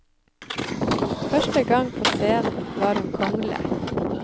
Første gang på scenen var hun kongle.